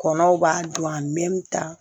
Kɔnɔw b'a don a ta